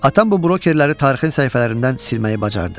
Atam bu brokerləri tarixin səhifələrindən silməyi bacardı.